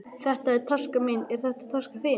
Þetta er taskan mín. Er þetta taskan þín?